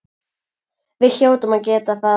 Við hljótum að geta það.